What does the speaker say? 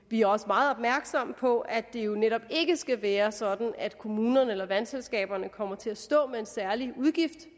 vi er også meget opmærksomme på at det jo netop ikke skal være sådan at kommunerne eller vandselskaberne kommer til at stå med en særlig udgift